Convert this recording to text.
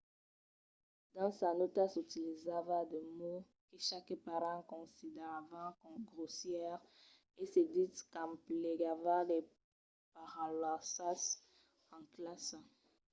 dins sas nòtas utilizava de mots que qualques parents consideravan grossièrs e se ditz qu'emplegava de paraulassas en classa